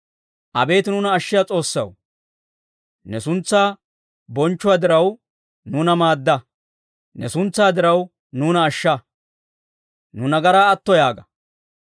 Abeet nuuna ashshiyaa S'oossaw, ne suntsaa bonchchuwaa diraw, nuuna maadda. Ne suntsaa diraw, nuuna ashsha; nu nagaraa atto yaaga.